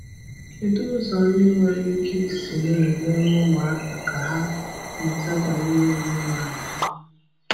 Kédụ ụzọ ndị nwere ike isi na-enyere ụmụaka ka ha mụta banyere òmènala ha?